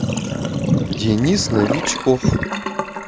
денис новичков